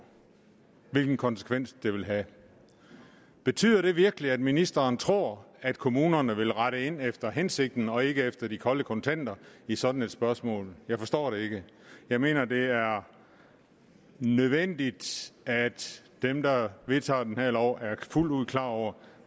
hvilken konsekvens det vil have betyder det virkelig at ministeren tror at kommunerne vil rette ind efter hensigten og ikke efter de kolde kontanter i sådan et spørgsmål jeg forstår det ikke jeg mener at det er nødvendigt at dem der vedtager den her lov er fuldt ud klar over